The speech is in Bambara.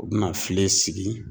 U bɛna filen sigi.